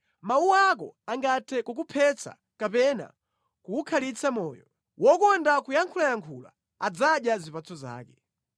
Mawu ako angathe kukuphetsa kapena kukukhalitsa moyo. Wokonda kuyankhulayankhula adzadya zipatso zake.